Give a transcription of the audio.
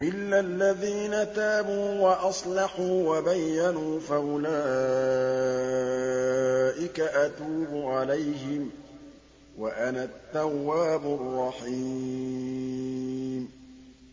إِلَّا الَّذِينَ تَابُوا وَأَصْلَحُوا وَبَيَّنُوا فَأُولَٰئِكَ أَتُوبُ عَلَيْهِمْ ۚ وَأَنَا التَّوَّابُ الرَّحِيمُ